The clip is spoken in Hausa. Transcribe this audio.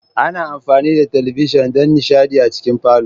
Ana amfani da talabijin don nishaɗi a cikin falo.